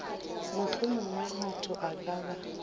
mohlomongwe motho a ka ba